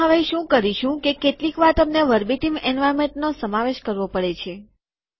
આપણે હવે શું કરીશું કે કેટલીકવાર તમને વર્બેટીમ એન્વાર્નમેન્ટ શબ્દશઃ વાતાવરણનો સમાવેશ કરવો પડે છે